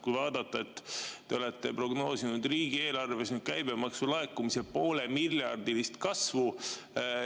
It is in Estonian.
Kui vaadata, siis te olete prognoosinud riigieelarves käibemaksu laekumise poolemiljardilist kasvu.